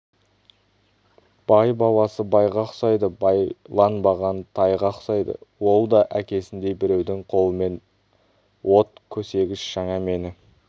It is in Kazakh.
бай баласы байға ұқсайды байланбаған тайға ұқсайды ол да әкесіндей біреудің қолымен от көсегіш жаңа мені